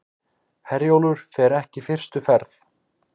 Herjólfur fer ekki fyrstu ferð